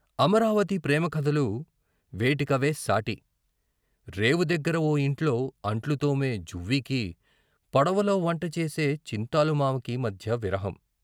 అమరావతి ప్రేమ కథలు వేటి కవే సాటి. రేవు దగ్గర ఓ యింట్లో అంట్లు తోమే జువ్వికి, పడవలో వంటచేసే చింతాలు మావకీ మధ్య విరహం.